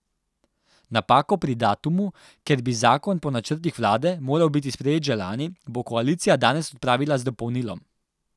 Napako pri datumu, ker bi zakon po načrtih vlade moral biti sprejet že lani, bo koalicija danes odpravila z dopolnilom.